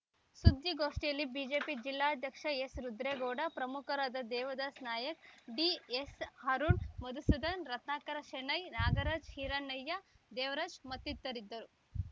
ಸುದ್ದಿಗೋಷ್ಠಿಯಲ್ಲಿ ಬಿಜೆಪಿ ಜಿಲ್ಲಾಧ್ಯಕ್ಷ ಎಸ್‌ರುದ್ರೇಗೌಡ ಪ್ರಮುಖರಾದ ದೇವದಾಸ್‌ ನಾಯಕ್‌ ಡಿಎಸ್‌ಅರುಣ್‌ ಮಧುಸೂದನ್‌ ರತ್ನಾಕರ ಶೆಣೈ ನಾಗರಾಜ್‌ ಹಿರಣ್ಣಯ್ಯ ದೇವರಾಜ್‌ ಮತ್ತಿತರರಿದ್ದರು